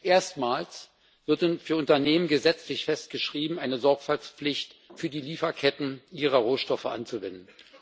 Erstmals wird für Unternehmen gesetzlich festgeschrieben, eine Sorgfaltspflicht für die Lieferketten ihrer Rohstoffe anzuwenden.